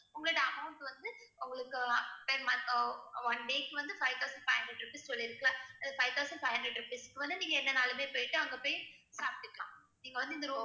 உங்களுடைய amount வந்து உங்களுக்கு one day க்கு வந்து five thousand five hundred rupees சொல்லிருக்குல அந்த five thousand five hundred rupees க்கு வந்து நீங்க என்ன வேணும்னாலுமே போயிட்டு அங்க போய் சாப்பிட்டுக்கலாம். நீங்க வந்து இந்த room